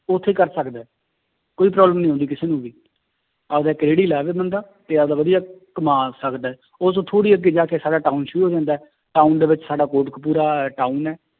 ਉੱਥੇ ਕਰ ਸਕਦਾ ਹੈ, ਕੋਈ problem ਨੀ ਆਉਂਦੀ ਕਿਸੇ ਨੂੰ ਵੀ ਆਪਦਾ ਇੱਕ ਰੇੜੀ ਲਾਵੇ ਬੰਦਾ ਤੇ ਆਪਦਾ ਵਧੀਆ ਕਮਾ ਸਕਦਾ ਹੈ ਉਹ ਤੋਂ ਥੋੜ੍ਹੀ ਅੱਗੇ ਜਾ ਕੇ ਸਾਡਾ town ਸ਼ੁਰੂ ਹੋ ਜਾਂਦਾ ਹੈ town ਦੇ ਵਿੱਚ ਸਾਡਾ ਕੋਟਕਪੁਰਾ town ਹੈ